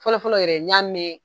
Fɔlɔfɔlɔ yɛrɛ n'i y'a mɛn